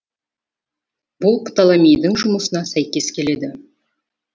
бұл птолемейдің жұмысына сәйкес келеді